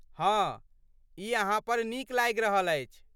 हँ, ई अहाँ पर नीक लागि रहल अछि।